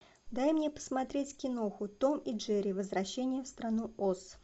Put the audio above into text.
дай мне посмотреть киноху том и джерри возвращение в страну оз